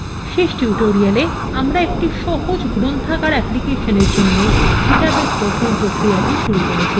শেষ tutorial আমরা একটি সহজ গ্রন্থাগার অ্যাপ্লিকেশনের জন্য ডাটাবেস গঠন প্রক্রিয়াটি শুরু করেছিলাম